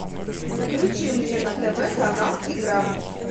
включи мне на тв канал игра